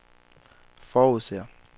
forudser